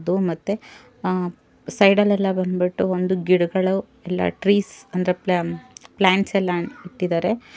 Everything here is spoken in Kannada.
ಇದ್ದು ಮತ್ತೆ ಆ ಸೈಡಲ್ಲೆಲ್ಲ ಬಂದ್ ಬಿಟ್ಟು ಒಂದು ಗಿಡಗಳು ಇಲ್ಲ ಟ್ರೀಸ್ ಅಂದ್ರೆ ಪ್ಲಾ ಪ್ಲಾಂಟ್ಸ್ ಎಲ್ಲ ಇಟ್ಟಿದ್ದಾರೆ.